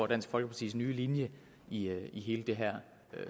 dansk folkepartis nye linje i hele det her